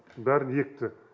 бәрін екті